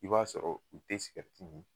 I b'a sɔrɔ u te sigɛriti mi